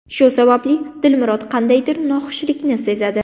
Shu sababli Dilmurod qandaydir noxushlikni sezadi.